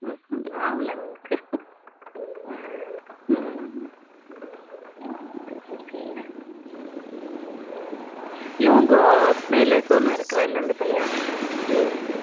ஆவல அவளுக்கு இவங்க மேல Sonu இருக்கிறார் இல்ல அந்த பையன்